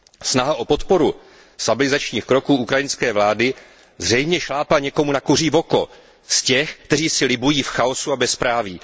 Snaha o podporu stabilizačních kroků ukrajinské vlády zřejmě šlápla na kuří oko někomu z těch, kteří si libují v chaosu a bezpráví.